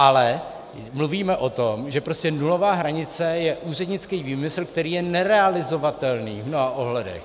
Ale mluvíme o tom, že prostě nulová hranice je úřednický výmysl, který je nerealizovatelný v mnoha ohledech.